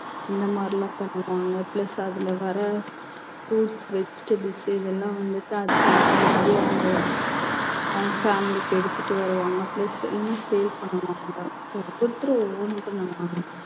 இந்த மாதிரிலாம் பண்ணுவாங்க plus அதுல வர்ற fruits vegetables இதெல்லாம் வந்துட்டு அதுக்கு ஏத்த மாதிரி அவங்க அவங்க family க்கு எடுத்துட்டு வருவாங்க plus இல்லைன்னா sale பண்ணுவாங்க ஒவ்வொருத்தரும் ஒவ்வொண்ணு பண்ணுவாங்க